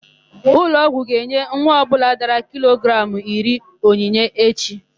Ụlọọgwụ ga-enye nwa ọbụla dara kilogramụ iri onyinye echi.